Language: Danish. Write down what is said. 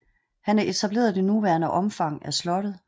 Han etablerede det nuværende omfang af slottet